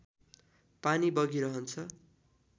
पानी बगिरहन्छ